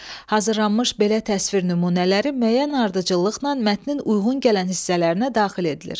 Hazırlanmış belə təsvir nümunələri müəyyən ardıcıllıqla mətnin uyğun gələn hissələrinə daxil edilir.